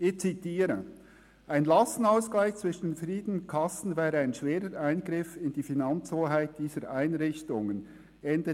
«Ein Lastenausgleich zwischen verschiedenen Kassen wäre ein schwerer Eingriff in die Finanzhoheit dieser Einrichtungen.».